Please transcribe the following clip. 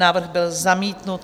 Návrh byl zamítnut.